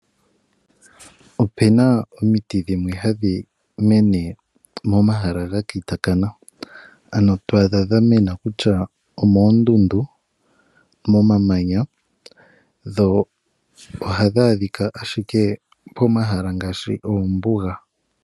Opu na omiti dhimwe hadhi mene momahala ga kitakana, ano to adha dha mena ku tya omooondundu, momamanya, dho ohadhi adhika ashike pomahala ngaashi oombuga.